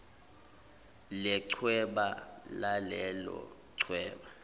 lechweba lalelo chweba